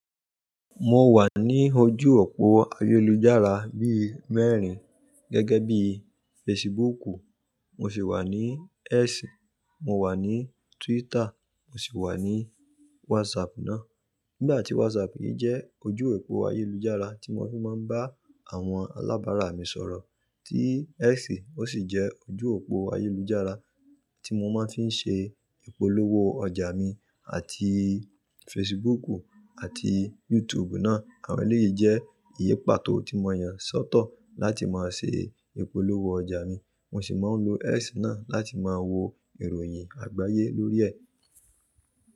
Mo wà ní ojú òpó ayélujára bí i mẹ́rin, gẹ́gẹ́ bí i Facebooku, mo sì wà ní X, mo wà ní Twitter, mo sì wà ní WhatsApp ná. Nígbà tí WhatsApp yìí jẹ́ ojú òpó ayélujára tí mo fi máa ń bá àwọn alábárà mi sọ̀rọ̀, tí X ó sì jẹ́ ojú òpó ayélujára tí mo máa ti ń ṣe ìpolówó ọjà mi àti Facebooku àti YouTube ná. Àwọn èlé yìí jẹ́ ìyè pàtó tí mo yàn sọ́tọ̀ láti máa ṣe ìpolówó ọjà mi. Mo sì máa ń lo X náà láti máa wo ìròyìn àgbáyé lórí ẹ̀.